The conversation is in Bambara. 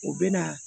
O bɛ na